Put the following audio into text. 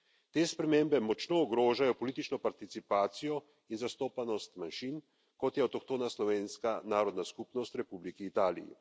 Te spremembe močno ogrožajo politično participacijo in zastopanost manjšin, kot je avtohtona slovenska narodna skupnost v Republiki Italiji.